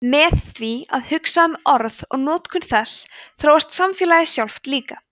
með því að hugsa um orð og notkun þess þróast samfélagið sjálft líka